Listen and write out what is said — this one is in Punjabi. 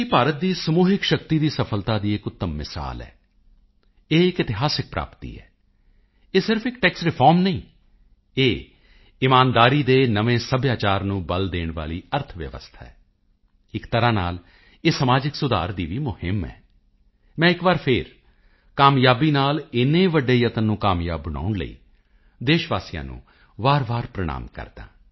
ਭਾਰਤ ਦੀ ਸਮੂਹਿਕ ਸ਼ਕਤੀ ਦੀ ਸਫਲਤਾ ਦੀ ਇੱਕ ਉੱਤਮ ਮਿਸਾਲ ਹੈ ਇਹ ਇੱਕ ਇਤਿਹਾਸਕ ਪ੍ਰਾਪਤੀ ਹੈ ਇਹ ਸਿਰਫ ਇੱਕ ਟੈਕਸ ਰਿਫੋਰਮ ਨਹੀਂ ਇਹ ਇਮਾਨਦਾਰੀ ਦੇ ਨਵੇਂ ਸੱਭਿਆਚਾਰ ਨੂੰ ਬਲ ਦੇਣ ਵਾਲੀ ਅਰਥ ਵਿਵਸਥਾ ਹੈ ਇੱਕ ਤਰ੍ਹਾਂ ਨਾਲ ਇਹ ਸਮਾਜਿਕ ਸੁਧਾਰ ਦੀ ਵੀ ਮੁਹਿੰਮ ਹੈ ਮੈਂ ਇੱਕ ਵਾਰੀ ਫੇਰ ਕਾਮਯਾਬੀ ਨਾਲ ਏਨੇ ਵੱਡੇ ਯਤਨ ਨੂੰ ਕਾਮਯਾਬ ਬਣਾਉਣ ਲਈ ਦੇਸ਼ ਵਾਸੀਆਂ ਨੂੰ ਵਾਰਵਾਰ ਪ੍ਰਣਾਮ ਕਰਦਾ ਹਾਂ